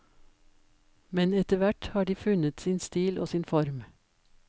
Men etterhvert har de funnet sin stil og sin form.